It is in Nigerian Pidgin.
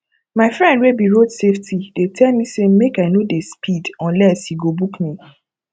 my friend wey be road safety dey tell me say make i no dey speed unless he go book me